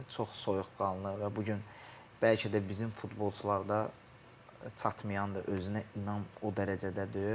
Yəni çox soyuqqanlı və bu gün bəlkə də bizim futbolçularda çatmayan özünə inam o dərəcədə deyil.